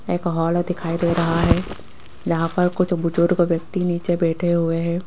एक हॉल दिखाई दे रहा है यहां पर कुछ बुजुर्ग व्यक्ति नीचे बैठे हुए हैं।